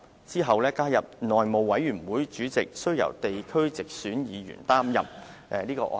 "之後加入"內務委員會主席須由地區直選議員擔任。